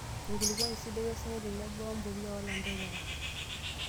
Enkulukuoni sidai, osinyai tenebo embolea olanterera.